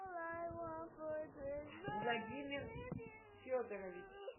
владимир федорович